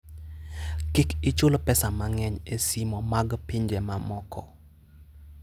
Kik ichul pesa mang'eny e simo mag pinje mamoko.